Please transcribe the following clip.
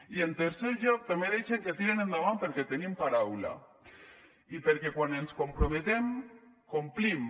i en tercer lloc també deixem que tiren endavant perquè tenim paraula i perquè quan ens comprometem complim